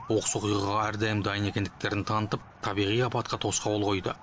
оқыс оқиғаға әрдайым дайын екендіктерін танытып табиғи апатқа тосқауыл қойды